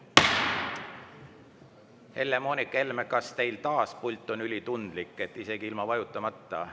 Helle-Moonika Helme, kas teil on pult taas ülitundlik, et isegi ilma vajutamata …